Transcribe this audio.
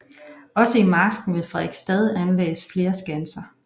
Også i marsken ved Frederiksstad anlagdes flere skanser